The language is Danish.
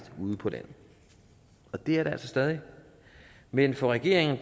ude på landet og det er det altså stadig men for regeringen